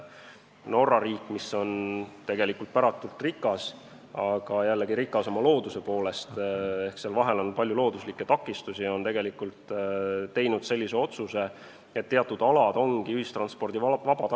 Norra riik, mis on tegelikult päratult rikas – rikas oma looduse poolest ehk seal vahel on palju looduslikke takistusi –, on teinud sellise otsuse, et teatud alad ongi ühistranspordivabad.